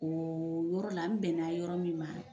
Ooo yɔrɔ la, n bɛna yɔrɔ min ma.